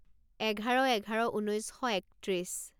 এঘাৰ এঘাৰ ঊনৈছ শ একত্ৰিছ